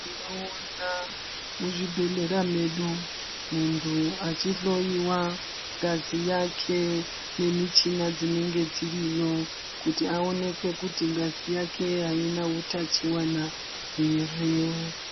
Tinoona muzvibhedhlera medu muntu achihloiwa ngazi yake nemichina dzinenge dziriyo kuti aonekwe kuti ngazi yake aina utachiwana here.